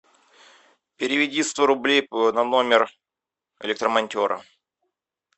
переведи сто рублей на номер электромонтера